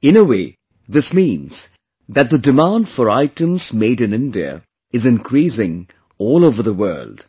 In a way, this means that the demand for items made in India is increasing all over the world;